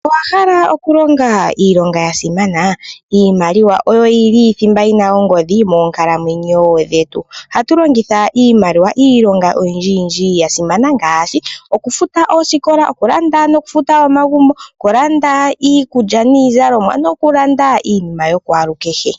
Owhala okulonga iilonga yasimana , iimaliwa oyo yili thimba yili mongodhi moonkalamwenyo dhetu. Ohatu longitha iimaliwa iilonga oyindji yindji yasimana ngaashi olufuta oosikola, okulanda nokufuta omagumbo , okulanda iikulya niizalomwa nokulanda iinima yokwalu kehe.